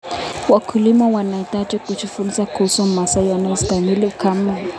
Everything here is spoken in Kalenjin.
Wakulima wanahitaji kujifunza kuhusu mazao yanayostahimili ukame.